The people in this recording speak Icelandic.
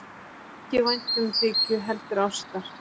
Ekki væntumþykju heldur ástar.